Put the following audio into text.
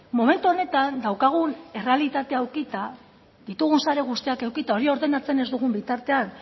momentu honetan daukagun errealitatea edukita ditugun sare guztiak edukita hori ordenatzen ez dugun bitartean